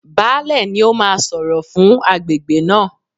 Baálẹ̀ ni ó máa sọ̀rọ̀ fún agbègbè náà.